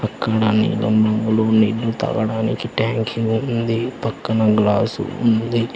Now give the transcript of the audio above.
నీళ్లు తాగడానికి ట్యాంకి ఉంది పక్కన గ్లాస్ ఉంది.